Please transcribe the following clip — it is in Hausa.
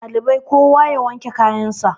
ɗalibai kowa ya wanke kayansa